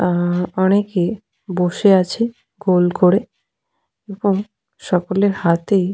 অ্যা অনেকে বসে আছে গোল করে এবং সকলের হাতেই --